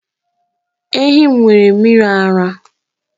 Ehi m nwere mmiri ara